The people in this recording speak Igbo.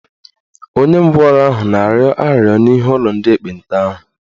Onye ngwọrọ ahụ na-arịọ arịrịọ n'ihu ụlọ ndị ekpenta ahụ